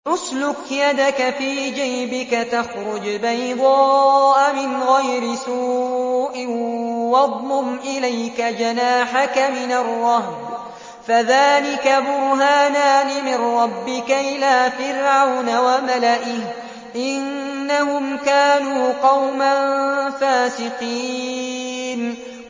اسْلُكْ يَدَكَ فِي جَيْبِكَ تَخْرُجْ بَيْضَاءَ مِنْ غَيْرِ سُوءٍ وَاضْمُمْ إِلَيْكَ جَنَاحَكَ مِنَ الرَّهْبِ ۖ فَذَانِكَ بُرْهَانَانِ مِن رَّبِّكَ إِلَىٰ فِرْعَوْنَ وَمَلَئِهِ ۚ إِنَّهُمْ كَانُوا قَوْمًا فَاسِقِينَ